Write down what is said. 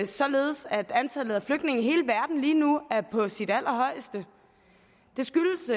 således at antallet af flygtninge i hele verden lige nu er på sit allerhøjeste det skyldes